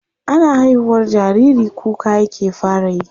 Ana haihuwar jariri kuka yake fara yi.